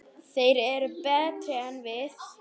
Þeir eru betri en við.